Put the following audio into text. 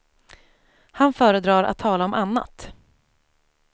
Han föredrar att tala om annat.